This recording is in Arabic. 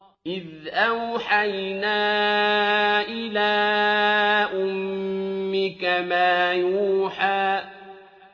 إِذْ أَوْحَيْنَا إِلَىٰ أُمِّكَ مَا يُوحَىٰ